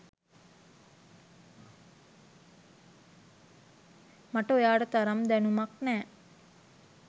මට ඔයාට තරම් දැනුමක් නෑ.